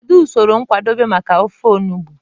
Kedu usoro nkwadebe maka ofe enugbe?